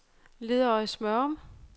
Ledøje-Smørum